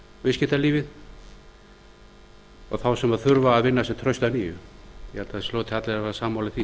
viðskiptalífið og þá sem þurfa að vinna sér traust að nýju ég held að það hljóti allir að vera sammála því